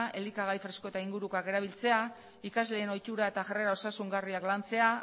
elikagai fresko eta ingurukoak erabiltzea ikasleen ohiturak eta jarrera osasungarriak lantzea